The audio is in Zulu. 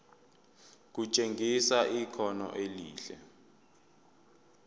kutshengisa ikhono elihle